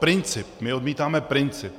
Princip - my odmítáme princip.